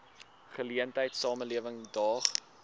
geleentheid samelewing daag